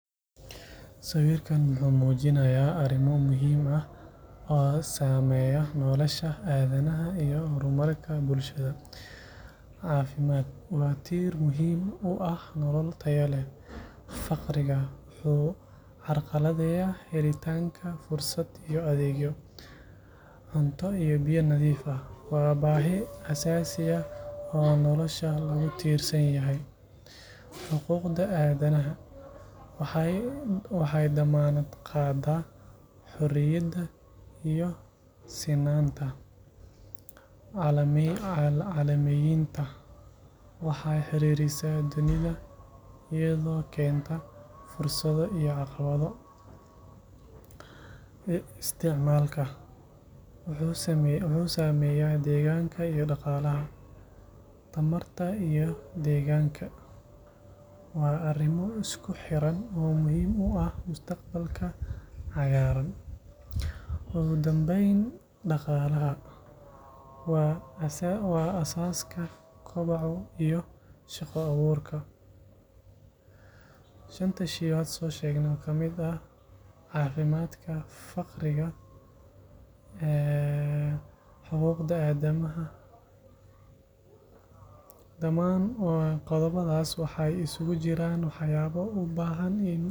Sawirkan wuxuu muujinayaa arrimo muhiim ah oo saameeya nolosha aadanaha iyo horumarka bulshada. HEALTH caafimaad waa tiir muhiim u ah nolol tayo leh. POVERTY faqriga wuxuu carqaladeeyaa helitaanka fursado iyo adeegyo. FOOD and WATER cunto iyo biyo nadiif ah waa baahi aasaasi ah oo nolosha lagu tiirsan yahay. HUMAN RIGHTS xuquuqda aadanaha waxay dammaanad qaadaa xorriyadda iyo sinaanta. GLOBALIZATION caalamiyeynta waxay xiriirisaa dunida, iyadoo keenta fursado iyo caqabado. CONSUMPTION (isticmaal wuxuu saameeyaa deegaanka iyo dhaqaalaha. ENERGY and ENVIRONMENT tamarta iyo deegaanka waa arrimo isku xidhan oo muhiim u ah mustaqbalka cagaaran. Ugu dambeyn, ECONOMY (dhaqaalaha) waa aasaaska koboca iyo shaqo-abuurka. Dhamaan qodobbadan waxay isugu jiraan waxyaabo u baahan.